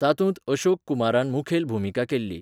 तातूंत अशोक कुमारान मुखेल भुमिका केल्ली.